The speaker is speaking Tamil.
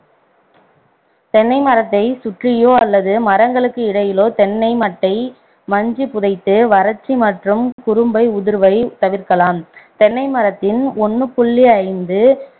தென்னை மரத்தை சுற்றியோ அல்லது மரங்களுக்கு இடையிலோ தென்னை மட்டை மஞ்சி புதைத்து வறட்சி மற்றும் குரும்பை உதிர்வை தவிர்க்கலாம் தென்னை மரத்தின் ஒண்ணு புள்ளி ஐந்து